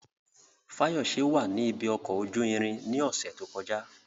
Fayose wà ní ibi ọkọ̀ ojú irin ní ọ̀sẹ̀ tó kọjá.